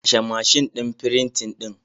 Kashe mashin din frintin din.